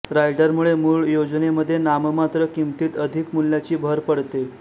रायडरमुळे मूळ योजनेमध्ये नाममात्र किंमतीत अधिक मूल्याची भर पडते